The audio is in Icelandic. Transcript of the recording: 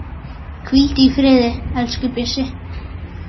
Hvíldu í friði, elsku Bjössi.